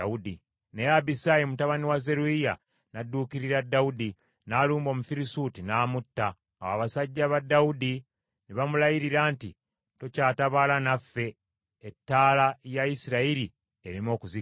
Naye Abisaayi mutabani wa Zeruyiya n’adduukirira Dawudi, n’alumba Omufirisuuti, n’amutta. Awo abasajja ba Dawudi ne bamulayirira nti, “Tokyatabaala naffe ettaala ya Isirayiri ereme okuzikira.”